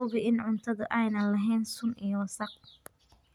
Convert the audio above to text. Hubi in cuntadu aanay lahayn sun iyo wasakh.